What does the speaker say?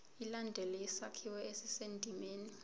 ilandele isakhiwo esisendimeni